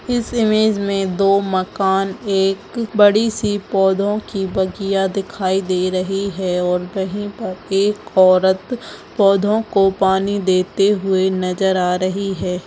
इस इमेज में दो मकान एक बड़ी सी पौधों की बगिया दिखाई दे रही हैं और वही पर एक औरत पौधों को पानी देते नज़र आ रही है।